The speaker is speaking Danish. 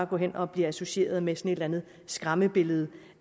går hen og bliver associeret med sådan et eller andet skræmmebillede